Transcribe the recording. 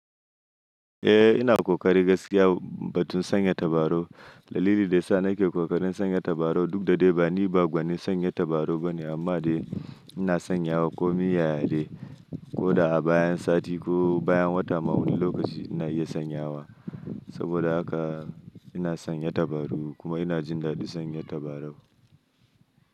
Eh ina ƙoƙari gaskiya batun sanya tabarau. Dalili da ya sa na ke ƙoƙarin sanya tabarau duk da dai ni ba gwanin sanya tabarau ba ne amma dai ina sanyawa kamin ya ya dai ko da a bayan sati ko bayan wata ma wani lokaci ina iya sanyawa. Saboda haka ina sanya tabarau kuma ina jin daɗin sanya tabarau.